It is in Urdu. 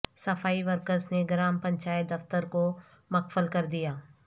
صفائی ورکرس نے گرام پنچایت دفتر کو مقفل کردیا